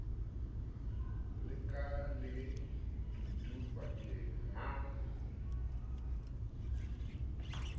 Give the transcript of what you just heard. la ka ke dudu bukaneng